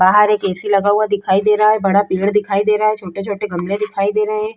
बाहर एक एसी लगा हुआ दिखाई दे रहा है बड़ा पेड़ दिखाई दे रहा है छोटे-छोटे गमले दिखाई दे रहे हैं।